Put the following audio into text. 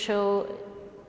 og